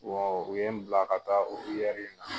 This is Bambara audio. u ye n bila ka taa o in na.